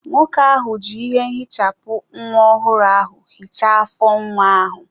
Nwoke ahụ ji ihe ehichapụ nwa ọhụrụ ahụ hichaa afọ nwa ahụ.